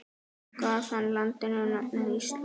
Gaf hann landinu nafnið Ísland.